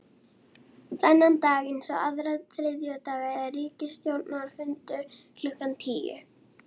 Þennan dag eins og aðra þriðjudaga er ríkisstjórnarfundur klukkan tíu.